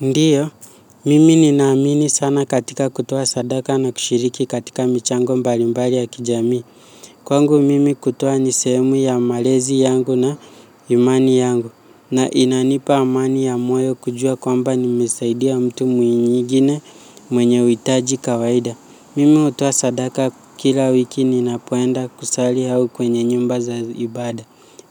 Ndiyo, mimi ninaamini sana katika kutoa sadaka na kushiriki katika michango mbalimbali ya kijami. Kwangu mimi kutoa ni sehemu ya malezi yangu na imani yangu, na inanipa amani ya moyo kujua kwamba nimesaidia mtu mwingine mwenye uhitaji kawaida. Mimi hutoa sadaka kila wiki ninapoenda kusali au kwenye nyumba za ibada.